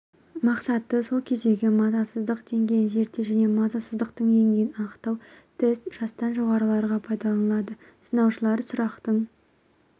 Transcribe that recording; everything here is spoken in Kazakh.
мақсаты сол кездегі мазасыздық деңгейін зерттеу және мазасыздықтың деңгейін анықтау тест жастан жоғарыларға пайдаланылады сыналушылар сұрақтың